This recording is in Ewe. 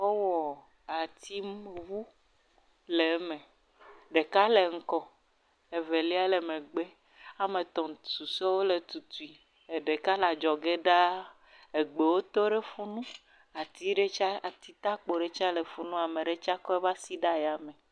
Wowɔ atiŋu, atiwo le eme, ɖeka le ŋgɔ, evelia le megbe, woame etɔ̃ susɔewo le tutui. ɖeka le adzɔge ɖaa, egbewo to ɖe fi mi.